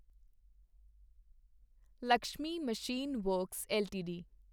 Lakshmi machine works LTD